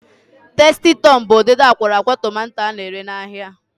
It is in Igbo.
Tasti Tọm bụ ụdịdị akwọrọakwọ tomanto a na-ere n'ahia.